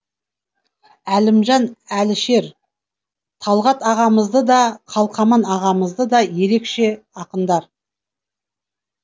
әлімжан әлішер талғат ағамызды да қалқаман ағамызды да ерекше ақындар